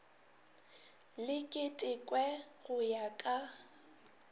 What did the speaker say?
le ketekwe go ya ka